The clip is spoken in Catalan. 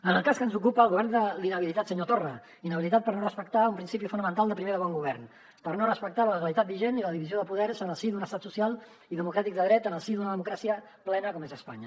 en el cas que ens ocupa el govern de l’inhabilitat senyor torra inhabilitat per no respectar un principi fonamental primer de bon govern per no respectar la legalitat vigent i la divisió de poders en el si d’un estat social i democràtic de dret en el si d’una democràcia plena com és espanya